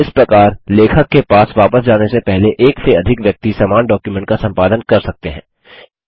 इस प्रकार लेखक के पास वापस जाने से पहले एक से अधिक व्यक्ति समान डॉक्युमेंट का संपादन कर सकते हैं